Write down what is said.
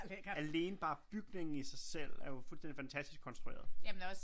Alene bare bygningen i sig selv er jo fuldstændig fantastisk konstrueret